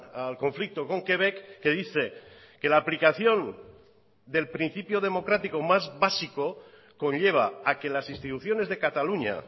al conflicto con quebec que dice que la aplicación del principio democrático más básico conlleva a que las instituciones de cataluña